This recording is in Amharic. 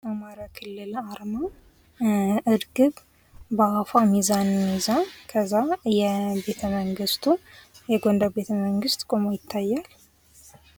የአማራ ክልል አርማ እርግብ በአፏ ሚዛን ይዛ ከዚያ ቤተመንግስቱ የጎንደር ቤተመንግስት ቆሞ ይታያል።